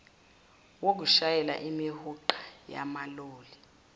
wokushayela imihuqa yamaloli